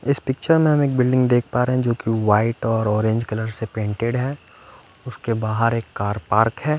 इस पिक्चर में हम एक बिल्डिंग देख पा रहे है जोकि वाइट और ऑरेंज कलर से पेंटेड है उसके बाहर एक कार पार्क है।